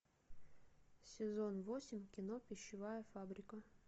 сезон восемь кино пищевая фабрика